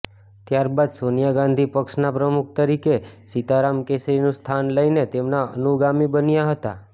ત્યારબાદ સોનિયા ગાંધી પક્ષના પ્રમુખ તરીકે સીતારામ કેસરીનું સ્થાન લઇને તેમના અનુગામી બન્યા હતા